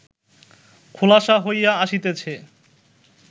খোলাসা হইয়া আসিতেছে